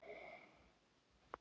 Benni sá um það.